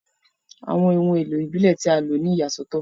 Awọn ohun elo ibile ti a lo ni iyasọtọ.